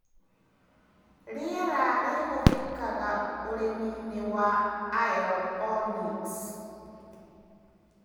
Rĩera rĩhũthĩkaga ũrĩminĩ wa aeroponics.